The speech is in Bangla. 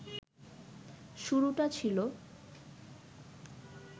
শুরুটা ছিল